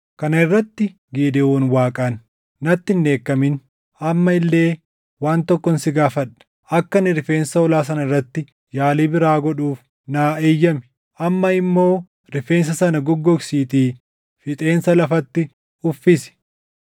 Kana irratti Gidewoon Waaqaan, “Natti hin dheekkamin. Amma illee waan tokkon si gaafadha. Akka ani rifeensa hoolaa sana irratti yaalii biraa godhuuf naa eeyyami. Amma immoo rifeensa sana goggogsiitii fixeensa lafatti uffisi.”